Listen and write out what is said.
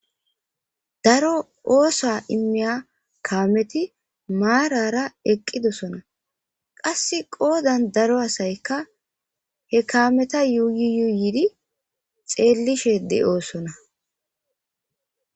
Daro ooththo immiya kaameti maarara eqqidossona qasse qoddan daaro asayika he kaametta yuyi yuyiddi xellishe de'ossona.